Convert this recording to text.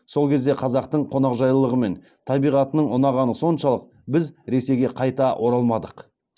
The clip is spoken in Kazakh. сол кезде қазақтың қонақжайлылығы мен табиғатының ұнағаны соншалық біз ресейге қайта оралмадық